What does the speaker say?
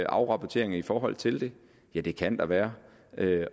afrapporteringer i forhold til det ja det kan der være